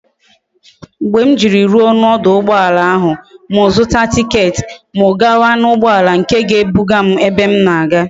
Mgbe m jiri ruo na oduugboala ahu m zuta ticket m gawa na ugboala nke ga e buga m ebe m na aga